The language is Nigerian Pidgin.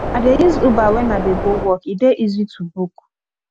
i dey use uber wen i dey go work e dey easy to book